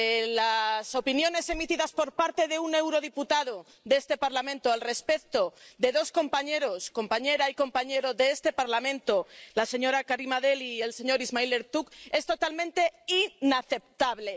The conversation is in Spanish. Las opiniones emitidas por parte de un eurodiputado de este Parlamento al respecto de dos compañeros —compañera y compañero— de este Parlamento, Karima Delli e Ismail Ertug, es totalmente inaceptable.